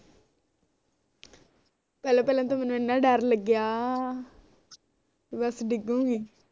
ਪਹਿਲਾ ਪਹਿਲਾ ਤੇ ਮੈਨੂੰ ਇਨਾ ਡਰ ਲਗਿਆ ਬਸ ਡਿੱਗੂਗੀ